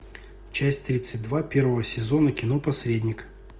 часть тридцать два первого сезона кино посредник